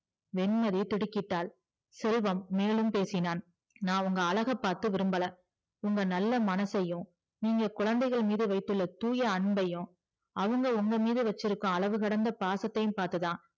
வெண்மதி திடுக்கிட்டாள் செல்வம் மேலும் பேசினான் நா உங்க அழக பாத்து விரும்பல உங்க நல்ல மனசையும் நீங்க குழந்தைகள் மீது வைத்துள்ள தூய அன்பையும் அவங்க உங்க மீது வச்சிருக்கும் அளவுகிடந்த பாசத்தையும் பாத்துதா